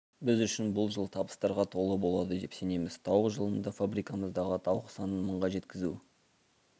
біз үшін бұл жыл табыстарға толы болады деп сенеміз тауық жылында фабрикамыздағы тауық санын мыңға жеткізу